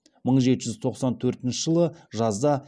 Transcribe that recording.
мың жеті жүз тоқсан төртінші жылы жазда